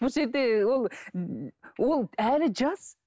бұл жерде ол ол әлі жас